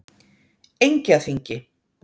Engjaþingi